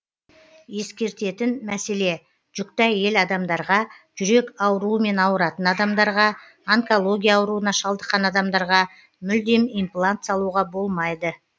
ескертетін мәселе жүкті әйел адамдарға жүрек ауруымен ауыратын адамдарға онкология ауруына шалдыққан адамдарға мүлдем имплант салуға болмайды